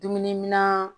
Dumuniminan